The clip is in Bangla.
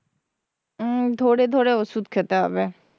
উম ধরে ধরে ওষুধ খেতে হবে,